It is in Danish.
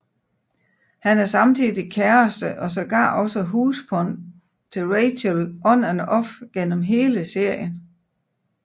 Han er samtidig kæreste og sågar også husbond til Rachel on and off gennem hele serien